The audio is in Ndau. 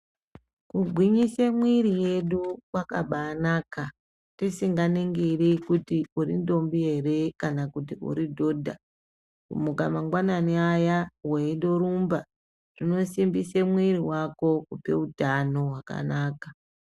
Kugwinyise mwiri yedu kwakabanaka tisinganingiri mwiri yedu kuti urindombi ere kanakuti uridhodha. Kumuka mangwanani aya veindorumba zvinosimbise mwiri vako kupeutano hwakanaka.